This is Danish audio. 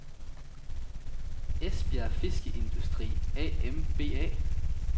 Esbjerg Fiskeindustri A.M.B.A